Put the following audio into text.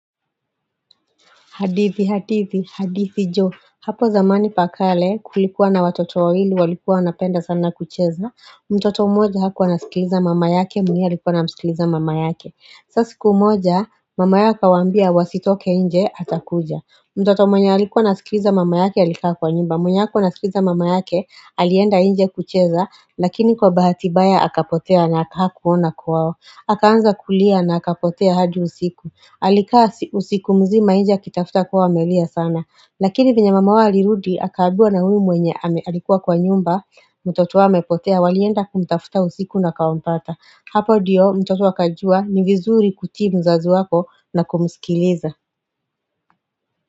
Hadithi, hadithi, hadithi jo. Hapo zamani pakale kulikuwa na watoto wawili, walikuwa na penda sana kucheza. Mtoto mmoja hakuwa anasikiliza mama yake, mwingine alikuwa anamsikiliza mama yake. Sa sikumoja, mama yaa akawaambia wasitoke nje, atakuja. Mtoto mwenye alikuwa anasikiliza mama yake, alikaa kwa nyumba. Mwenye hakuwa anasikiliza mama yake, alienda nje kucheza, lakini kwa bahati baya, akapotea na haka kuona kwao. Akaanza kulia na aka potea hadi usiku. Alikaa usiku mzima nje akitafuta kuwa amelia sana Lakini vyenye mama wao alirudi akaambiwa na huyu mwenye alikuwa kwa nyumba mtoto amepotea walienda kumtafuta usiku ndio wakampata Hapo diyo mtoto akajua ni vizuri kutii mzazi wako na kumsikiliza.